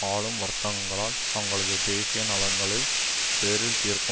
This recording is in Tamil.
ஆளும் வர்த்தங்களால் தங்களது தேசிய நலன்களில் பேரில் தீர்க்க